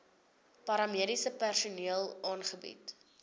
paramediese personeel aangebied